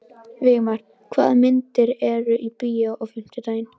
Vígmar, hvaða myndir eru í bíó á fimmtudaginn?